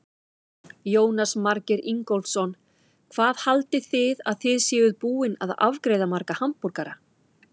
Jónas Margeir Ingólfsson: Hvað haldið þið að þið séuð búin að afgreiða marga hamborgara?